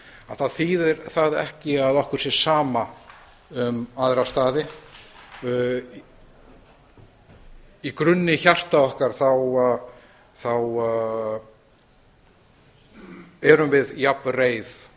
þá þýðir það ekki að okkur sé sama um aðra staði í grunni hjarta okkar þá erum við jafn reið